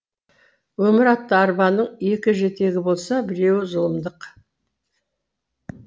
өмір атты арбаның екі жетегі болса біреуі зұлымдық